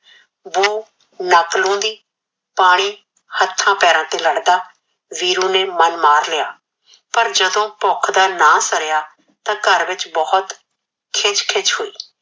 ਵੋ ਨੈਕ ਲਾਉਂਦੀ ਪਾਣੀ ਹਥਾ ਪੈਰਾ ਤੇ ਲੜਦਾ ਵੀਰੂ ਨੇ ਮਨ ਮਾਰ ਲਿਆ ਪਰ ਜਦੋ ਭੁਖ ਦਾ ਨਾ ਸਾਰਿਆ ਤਾ ਘਰ ਵਿਚ ਬਹੁਤ ਖਿਚ ਖਿਚ ਹੋਯੀ